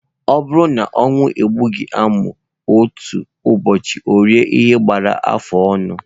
Ọ bụrụ na ọnwụ egbughị amụ, otu ụbọchị orie ihe gbara afụ ọnụ.